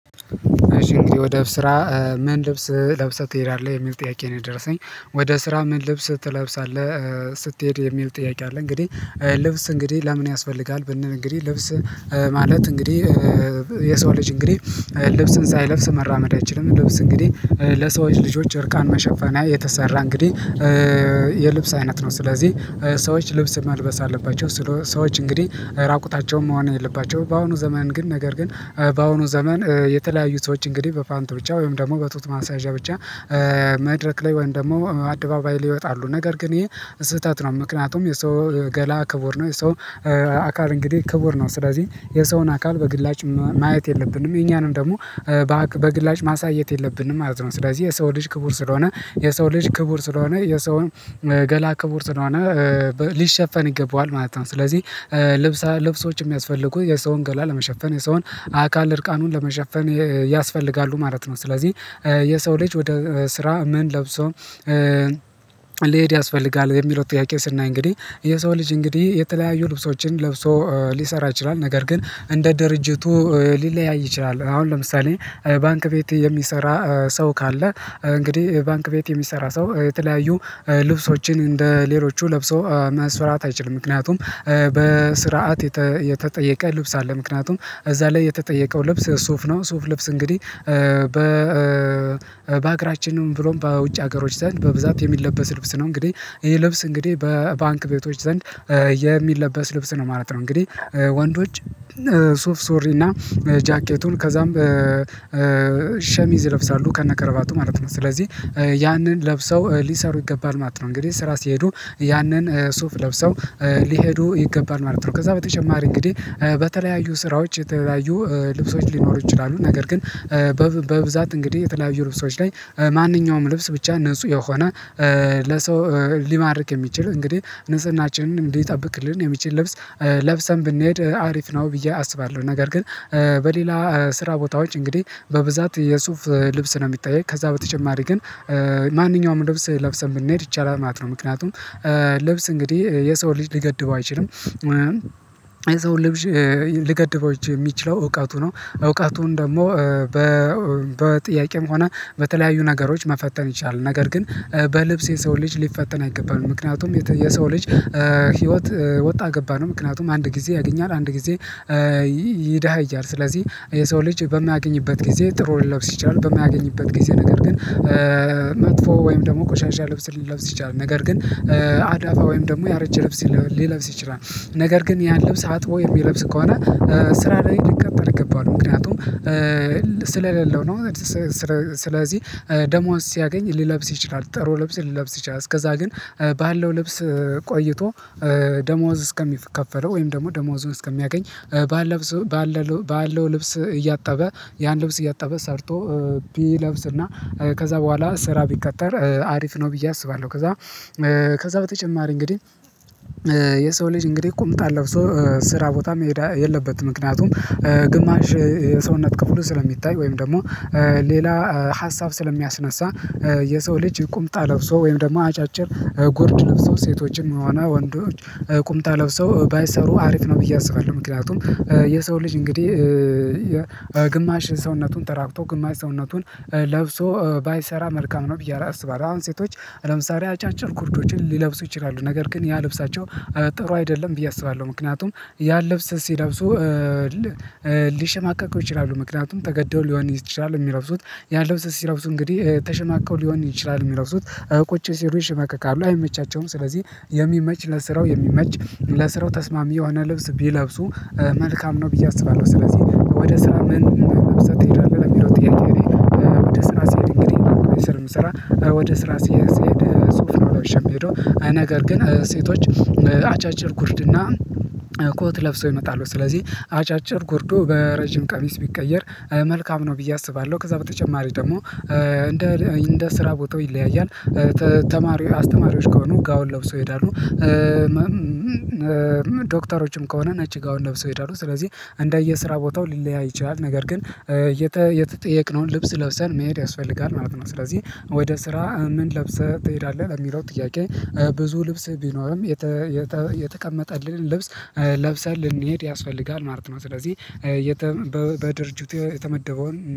እሺ እንግዲህ ወደ ስራ ምን ልብስ ለብሰህ ትሄዳለህ የሚል ጥያቄ ነው የደረሰኝ ወደ ስራ ምን ልብስ ትለብሳለህ ስትሄድ የሚል ጥያቄ አለ? እንግዲህ ልብስ እንግዲህ ለምን ያስፈልጋል ብንል እንግዲህ ልብስ ማለት እንግዲህ የሰው ልጅ እንግዲህ ልብስን ሳይለብስ መራመድ አይችልም ልብስ እንግዲህ ለሰዎች ልጆች እርቃን መሸፈኛ የተሰራ እንግዲህ የልብስ አይነት ነው። ስለዚህ ሰዎች ልብስ መልበስ አለባቸው ስለው ሰዎች እንግዲህ ራቁታቸውን መሆን የለባቸውም። በአሁኑ ዘመን ግን ነገር ግን በአሁኑ ዘመን የተለያዩ ሰዎች እንግዲህ በፓንት ብቻ ወይም ደግሞ በጡት ማሳያዣ ብቻ መድረክ ላይ ወይም ደግሞ አደባባይ ላይ ይወጣሉ ነገር ግን ይህ ስህተት ነው። ምክንያቱም የሰው ገላ ክቡር ነው የሰው አካል እንግዲህ ክቡር ነው። ስለዚህ የሰውን አካል በግላጭ ማየት የለብንም የኛንም ደግሞ በግላጭ ማሳየት የለብንም ማለት ነው። ስለዚህ የሰው ልጅ ክቡር ስለሆነ የሰው ልጅ ክቡር ስለሆነ የሰውን ገላ ክቡር ስለሆነ ሊሸፈን ይገባዋል ማለት ነው። ስለዚህ ልብስ ልብሶች የሚያስፈልጉት የሰውን ገላ ለመሸፈን የሰውን አካል እርቃኑን ለመሸፈን ያስፈልጋሉ ማለት ነው። ስለዚህ የሰው ልጅ ወደ ስራ ምን ለብሶ ልሄድ ያስፈልጋል የሚለው ጥያቄ ስናይ እንግዲህ የሰው ልጅ እንግዲህ የተለያዩ ልብሶችን ለብሶ ሊሰራ ይችላል። ነገር ግን እንደ ድርጅቱ ሊለያይ ይችላል አሁን ለምሳሌ ባንክ ቤት የሚሰራ ሰው ካለ እንግዲህ ባንክ ቤት የሚሰራ ሰው የተለያዩ ልብሶችን እንደ ሌሎቹ ለብሶ መስራት አይችልም። ምክንያቱም በስርዓት የተጠየቀ ልብስ አለ ምክንያቱም እዛ ላይ የተጠየቀው ልብስ ሱፍ ነው። ሱፍ ልብስ እንግዲህ በ በሀገራችንም ብሎም በውጭ ሀገሮች ዘንድ በብዛት የሚለበስ ልብስ ነው እንግዲህ ይሄ ልብስ እንግዲህ በባንክ ቤቶች ዘንድ የሚለበስ ልብስ ነው ማለት ነው። እንግዲህ ወንዶች ሱፍ ሱሪ እና ጃኬቱን ከዛም ሸሚዝ ይለብሳሉ ከነከረባቱ ማለት ነው። ስለዚህ ያንን ለብሰው ሊሰሩ ይገባል ማለት ነው እንግዲህ ስራ ሲሄዱ ያንን ሱፍ ለብሰው ሊሄዱ ይገባል ማለት ነው። ከዛ በተጨማሪ እንግዲህ በተለያዩ ስራዎች የተለያዩ ልብሶች ሊኖሩ ይችላሉ ነገር ግን በብዛት እንግዲህ የተለያዩ ልብሶች ላይ ማንኛውም ልብስ ብቻ ንጹህ የሆነ ለሰው ሊማርክ የሚችል እንግዲህ ንጽህናችንን እንዲጠብቅልን የሚችል ልብስ ለብሰን ብንሄድ አሪፍ ነው። ብዬ አስባለሁ ነገር ግን በሌላ ስራ ቦታ ውጪ እንግዲህ በብዛት የሱፍ ልብስ ነው የሚጠየቅ ከዛ በተጨማሪ ግን ማንኛውም ልብስ ለብሰን ብንሄድ ይቻላል ማለት ነው። ምክንያቱም ልብስ እንግዲህ የሰው ልጅ ሊገድበው አይችልም የሰው ልጅ ሊገድበው ሚችለው እውቀቱ ነው። እውቀቱን ደግሞ በጥያቄም ሆነ በተለያዩ ነገሮች መፈተን ይቻላል ነገር ግን በልብስ የሰው ልጅ ሊፈተን አይቀበልም ምክንያቱም የሰው ልጅ ህይወት ወጣ ገባ ነው። ምክንያቱም አንድ ጊዜ ያገኛል አንድ ጊዜ ይዳሃያል ስለዚህ የሰው ልጅ በማያገኝበት ጊዜ ጥሩ ሊለብስ ይችላል በማያገኝበት ጊዜ ነገር ግን መጥፎ ወይም ደግሞ ቆሻሻ ልብስ ሊለብስ ይችላል ነገር ግን አዳፋ ወይም ደግሞ ያረጀ ልብስ ሊለብስ ይችላል። ነገር ግን ያን ልብስ አጥቦ የሚለብስ ከሆነ ስራ ላይ ልከተል ይገባል ምክንያቱም ስለሌለው ነው። ስለዚህ ደሞዝ ሲያገኝ ሊለብስ ይችላል ጥሩ ልብስ ሊለብስ ይችላል እስከዛ ግን ባለው ልብስ ቆይቶ ደሞዝ እስከሚከፈለው ወይም ደግሞ ደሞዙን እስከሚያገኝ ባለብሶ ባለው ልብስ እያጣበ ያን ልብስ እያጣበ ሰርቶ ቢለብስና ከዛ በኋላ ስራ ቢቀጠር አሪፍ ነው። ብዬ አስባለሁ ከዛ ከዛ በተጨማሪ እንግዲህ የሰው ልጅ እንግዲህ ቁምጣ ለብሶ ስራ ቦታ መሄድ የለበትም ምክንያቱም ግማሽ የሰውነት ክፍሉ ስለሚታይ ወይም ደግሞ ሌላ ሀሳብ ስለሚያስነሳ የሰው ልጅ ቁምጣ ለብሶ ወይም ደግሞ አጫጭር ጉርድ ለብሶ ሴቶችን ሆነ ወንዶች ቁምጣ ለብሰው ባይሰሩ አሪፍ ነው ብዬ አስባለሁ። ምክንያቱም የሰው ልጅ እንግዲህ ግማሽ ሰውነቱን ተራቅቶ ግማሽ ሰውነቱን ለብሶ ባይሰራ መልካም ነው ብዬ አለስባለሁ አሁን ሴቶች ለምሳሌ አጫጭር ጉርዶችን ሊለብሱ ይችላሉ ነገር ግን ያ ልብሳቸው ጥሩ አይደለም ብዬ አስባለሁ ምክንያቱም ያን ልብስ ሲለብሱ ሊሸማቀቁ ይችላሉ ምክንያቱም ተገደው ሊሆን ይችላል ሚለብሱት ያን ልብስ ሲለብሱ እንግዲህ ተሽማቀው ሊሆን ይችላል ሚለብሱት ቁጭ ሲሉ ይሽማቀቃሉ አይመቻቸውም ስለዚህ የሚመች ለስራው የሚመች ለስራው ተስማሚ የሆነ ልብስ ቢለብሱ መልካም ነው ብዬ አስባለሁ። ስለዚህ ወደ ስራ ምን ለብሰህ ትሄዳለህ? ለሚለው ጥያቄ እኔ ወደ ስራ ስሄድ እንግዲህ ባንክ ቤት ስለሆነ ምሰራ ወደ ስራ ስሄድ ሱፍ ነው ለብሸ የሚሄደው ነገር ግን ሴቶች አጫጭር ጉርድና ኮት ለብሰው ይመጣሉ። ስለዚህ አጫጭር ጎርዱ በረጅም ቀሚስ ቢቀየር መልካም ነው ብዬ አስባለሁ። ከዛ በተጨማሪ ደግሞ እንደ እንደ ስራ ቦታው ይለያያል። ተማሪዎች አስተማሪዎች ከሆኑ ጋውን ለብሰው ይሄዳሉ ዶክተሮችም ከሆነ ነጭ ጋውን ለብሰው ይሄዳሉ ስለዚህ እንደየ ስራ ቦታው ሊለያይ ይችላል። ነገር ግን የተጠየቅነውን ልብስ ለብሰን መሄድ ያስፈልጋል ማለት ነው። ስለዚህ ወደ ስራ ምን ለብሰህ ትሄዳለህ? በሚለው ጥያቄ ብዙ ልብስ ቢኖርም የተቀመጠልንን ልብስ ለብሰን ልንሄድ ያስፈልጋል ማለት ነው። ስለዚህ በድርጅቱ የተመደበውን